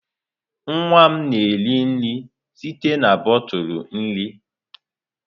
Nwa m na-eri nri site na bọtụlụ nri.